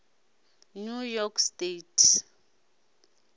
new york state